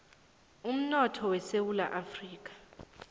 umnotho wesewula afrika